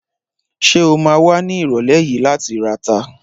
Ṣé o ma wà ní ìrọ̀lẹ́ yìí láti rata?